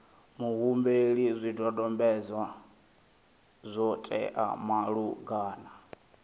muhumbeli zwidodombedzwa zwo teaho malugana